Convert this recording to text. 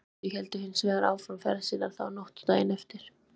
Jón og Sæmundur héldu hins vegar áfram ferð sinni þá nótt og daginn eftir.